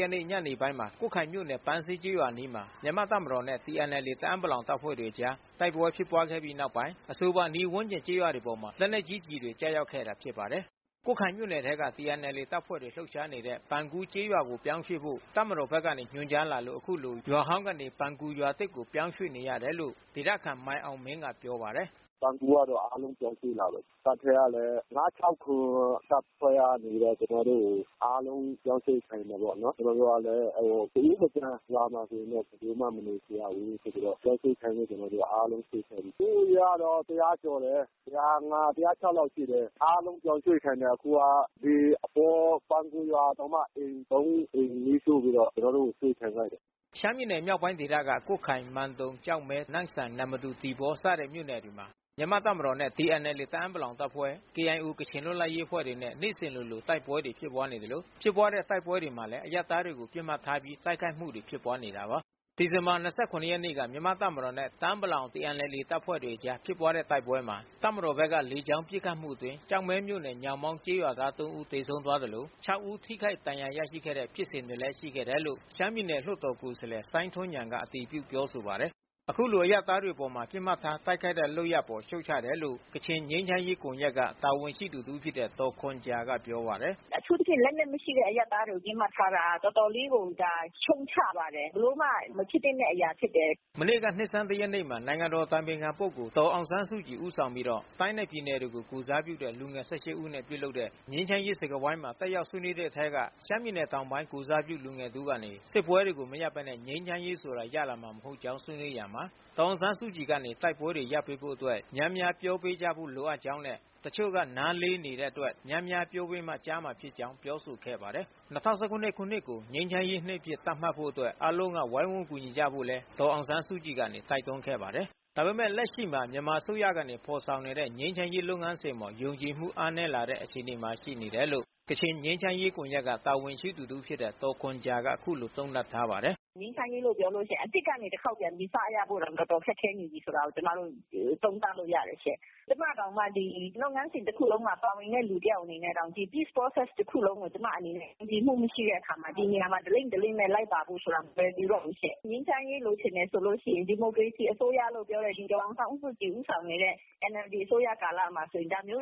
ရက်နေ့ညနေပိုင်းမှာ ကွတ်ခိုင်မြို့နယ်ပန်ဆေးကျေးရွာအနီးမှာ မြန်မာ့တပ်မတော်နဲ့ TNLAတအာင်း ပလောင်တပ်ဖွဲ့တို့အကြား တိုက်ပွဲဖြစ်ပွါးခဲ့ပြီးနောက်ပိုင်း အဆိုပါအနီးကျင်ဒေသကျေးရွာတွေအပေါ် လက်နက်ကြီး ကျည်တွေကျရောက်ခဲ့တာဖြစ်ပါတယ်။ ကွတ်ခိုင်မြို့နယ်ထဲ TNLAတပ်ဖွဲ့တွေလှုပ်ရှားသွားလာနေတဲ့ ပန်ကူးကျေးရွာကို ပြောင်းရွှေ့ဖို့တပ်မတော်ဖက်က ညွှန် ကြားလာလို့အခုဆို ရွာဟောင်းကနေပန်ကူးရွာသစ်ကို ပြောင်းရွှေ့နေရတယ်လို့ ဒေသခံမိုင်အောင်မင်းကကပြော ပါတယ်။ “ပန်ကူးကတော့ အားလုံးပြောင်းရွှေ့လာတယ်။ ၅၆၇ တပ်ဖွဲ့ကနေပြီးတာ့ ကျနော်တို့အားလုံးကို ပြောင်းရွေ့ခိုင်းတယ်ပေါ့နော်။ ကျနော်တို့ကလည်း ကလေးမကျန် ရွာမှာ ဘယ်သူမှ မကျန်ခဲ့ရဘူးဆိုပြီးတော့ ပြောင်းရွေ့ခိုင်းလို့ ကျနော်တို့ ပြောင်းရွေ့ခဲ့တယ်။ လူဦးရေကတော့ ၁၀၅၊ ၂၀၆ လောက်ရှိတယ် အားလုံးကိုပြောင်းရွေ့ခိုင်းတယ်။ ဒီအပေါ်ရွာကိုတောင်မှ အိမ် ၃ အိမ် မီးရှို့ခိုင်းပြီးတော့ ကျနော်တို့ကို ပြောင်းရွေ့ခိုင်းလိုက်တယ်။” ရှမ်းပြည်နယ်မြောက်ပိုင်းဒေသက ကွတ်ခိုင် မန်တုန် ကျောက်မဲ သီပေါ နမ့်ဆမ် နမ္မတူ သီပေါ စတဲ့မြို့နယ်တွေမှာ မြန်မာ့တပ်မတော်နဲ့ TNLAတအာင်းပလောင်တပ်ဖွဲ့ KIOကချင်လွတ်လပ်ရေးအဖွဲ့တွေနဲ့ နေ့စဉ်ဆိုသလို တိုက်ပွဲတွေ ဖြစ်ပွါးနေသလို ဖြစ်ပွါးတဲ့တိုက်ပွဲတွေမှာလဲ အရပ်သားတွေကိုပစ်မှတ်ထားပြီးတိုက်ခိုက်မှုတွေဖြစ်ပွါးနေတာပါ။ ဒီဇင်ဘာ ရက်နေ့က မြန်မာ့ တပ်မတော်နဲ့ တအာင်းပလောင်တပ်ဖွဲ့TNLAတို့ အကြား ဖြစ်ပွါးခဲ့တဲ့တိုက်ပွဲမှာ တပ်မတော်ဘက်က လေကြောင်း ပစ်ခတ်မှုအတွင်း ကျောက်မဲမြို့နယ် ညောင်မောင်းကျေးရွာဒေသခံ ဦး သေဆုံးသွား သလို ဦးထိခိုက် ဒဏ်ရာရရှိခဲ့တဲ့ ဖြစ်စဉ်တွေရှိခဲ့တယ်လို့ ရှမ်းပြည်နယ်လွှတ်တော် ကိုယ်စားလှယ်စိုင်းထွန်းဉာဏ်က အတည်ပြုပြောဆိုပါတယ်။ အခုလိုအရပ်သားတွေ အပေါ် ပစ်မှတ်ထား တိုက်ခိုက်တဲ့ လုပ်ရပ်အပေါ်ရှုံ့ချတယ်လို့ ကချင်ငြိမ်းချမ်းရေးကွန်ရက်က တာဝန်ရှိသူ တဦးဖြစ်သူဒေါ်ခွန်ဂျာကပြောပါတယ်။ “အထူးသဖြင့် လက်နက်မရှိတဲ့ အရပ်သားတွေကို ပစ်မှတ်ထားတာက တော်တော်လေးကို ရှုံ့ချပါတယ်။ ဘယ်လိုမှ မဖြစ်သင့်တဲ့အရာဖြစ်တယ်။” မနေ့ကနှစ်ဆန်း ရက်နေ့မှာ နိုင်ငံတော်အတိုင်ပင်ခံပုဂ္ဂိုလ် ဒေါ်အောင်ဆန်းစုကြည်ဦးဆောင်ပြီးတော့ တိုင်းနဲ့ ပြည်နယ်တွေကို ကိုယ်စားပြုတဲ့ လူငယ် ၁၈ ဦးနဲ့ ပြုလုပ်တဲ့ ငြိမ်းချမ်းရေးစကားဝိုင်းမှာ တက်ရောက်ဆွေးနွေးတဲ့အထဲက ရှမ်းပြည်နယ်တောင်ပိုင်း ကိုယ်စားပြုလူငယ်တစ်ဦးက စစ်ပွဲတွေ မရပ်ပဲနဲ့ ငြိမ်းချမ်းရေးဆိုတာ ရလာမှာမဟုတ်ကြောင်း ဆွေးနွေးရာမှာ ဒေါ်အောင်ဆန်းစုကြည်ကနေ စစ်ပွဲတွေရပ်ပေးဖို့အတွက် များများပြောပေးကြဖို့ လိုအပ်ကြောင်းနဲ့ တချို့က နားလေးတဲ့အတွက် များများပြောပေးမှ ကြားမှာဖြစ်ကြောင်း ပြောဆိုခဲ့ပါတယ်။ ၂၀၁၇ ခုနှစ်ကို ငြိမ်းချမ်းရေးနှစ် အဖြစ် သတ်မှတ်နိုင်ဖို့အတွက် အားလုံးက ဝိုင်းဝန်းကူညီကြဖို့ ကိုလည်း ဒေါ်အောင်ဆန်းစုကြည်ကတိုက်တွန်းခဲ့ပါတယ်။ ဒါပေမဲ့လက်ရှိမှာ မြန်မာအစိုးရကနေဖေါ်ဆောင်နေတဲ့ငြိမ်းချမ်းရေးလုပ်ငန်းစဉ်အပေါ်မှာ ယုံကြည်မှုအားနည်းလာတဲ့ အခြေအနေ မှာရှိနေတယ်လို့ ကချင်ငြိမ်းချမ်းရေးကွန်ရက်က တာဝန်ရှိသူတဦးဖြစ်သူဒေါ်ခွန်ဂျာကအခုလိုသုံးသပ်ထားပါတယ်။ “ငြိမ်းချမ်းရေးလို့ ပြောရင် အသစ်ကနေ တခေါက်ပြန်ပြီးစရဖို့တောင်တော်တော်ခတ်ခဲနေပြီဆိုတာ ကျမတို့ပြောလို့ရတယ်။ ကျမတောင်မှ လုပ်ငန်းစဉ်တခုလုံးမှာ ပါဝင်တဲ့ လူ၁ ယောက်အနေနဲ့တောင်မှ ဒီ Peace Process တခုလုံးကို ကျမအနေနဲ့ ယုံကြည်မှုမရှိတဲ့အခါမှာ ဒီနေရာမှာ လိုက်ပါဖို့ဆိုတာ မလွယ်ကူတော့ဘူးရှင့်။ ငြိမ်းချမ်းရေးလိုချင်တယ်ဆိုရင် ဒီမိုကရေစီအစိုးရလို့ပြောတဲ့ ဒေါ်အောင်ဆန်းစုကြည် ဦးဆောင်နေတဲ့ NLD အစိုးရကာလမှာ ဆိုရင် ဒါမျိုး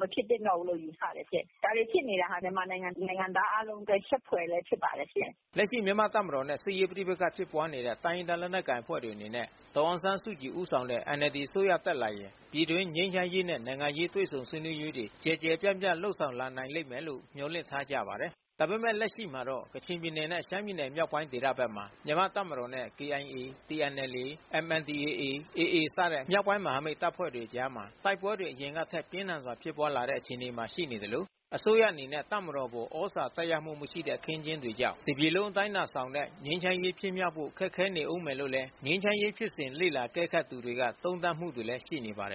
မဖြစ်သင့်တော့ဘူးလို့ယူဆတယ်ရှင့်။ ဒါတွေ ဖြစ်နေတာဟာ မြန်မာနိုင်ငံသားအားလုံးအတွက် ရှက်ဖွယ်လည်းဖြစ်ပါတယ်ရှင့်။” လက်ရှိမြန်မာ့တပ်မတော်နဲ့ စစ်ရေးပဋိပက္ခဖြစ်ပွါးနေတဲ့ တိုင်းရင်းသားလက်နက်ကိုင်အဖွဲ့တွေအနေနဲ့ ဒေါ်အောင်ဆန်း စုကြည်ဦးဆောင်တဲ့ NLDအစိုးရတက်လာရင် ပြည်တွင်းငြိမ်းချမ်းရေးနဲ့ နိုင်ငံရေးတွေ့ဆုံဆွေးနွေးရေးတွေ ကျယ်ကျယ် ပြန့်ပြန့်လုပ်ဆောင်လာနိုင်လိမ့်မယ်လို့မျှော်လင့်ထားကြပါတယ်။ ဒါပေမဲ့ လက်ရှိမှာတော့ ကချင်ပြည်နယ်နဲ့ ရှမ်းပြည်နယ်မြောက်ပိုင်းဒေသဘက်မှာ မြန်မာ့တပ်မတော်နဲ့ KIA TNLA MNDAA AAစတဲ့ မြောက်ပိုင်းမဟာမိတ်တပ်ဖွဲ့အကြားမှာ တိုက်ပွဲတွေအရင်ကထက်ပြင်းထန်စွာဖြစ်ပွါးနေတဲ့ အခြေ အနေမှာရှိနေသလို အစိုးရအနေနဲ့ တပ်မတော်အပေါ်သြဇာသက်ရောက်မှုမရှိတဲ့အခင်းအကျင်းတွေကြောင့် တပြည်လုံး အတိုင်းတာဆောင်တဲ့ငြိမ်းချမ်းရေးဖြစ်မြောက်ဖို့ ခက်ခဲနေဦးမယ်လို့လဲ ငြိမ်းချမ်းရေးဖြစ်စဉ်လေ့လာအကဲခတ်သူတွေ ကသုံးသပ်မှုတွေလဲရှိနေပါတယ်